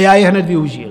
A já je hned využil.